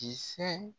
Kisɛ